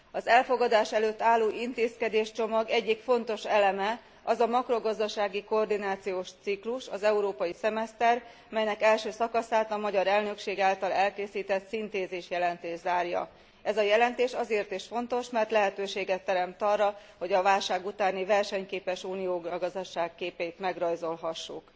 Az elfogadás előtt álló intézkedéscsomag egyik fontos eleme az a makrogazdasági koordinációs ciklus, az európai szemeszter, melynek első szakaszát a magyar elnökség által elkészített szintézisjelentés zárja. Ez a jelentés azért is fontos, mert lehetőséget teremt arra, hogy a válság utáni versenyképes Unió gazdasági képét megrajzolhassuk.